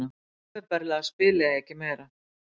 Opinberlega spila ég ekki meira.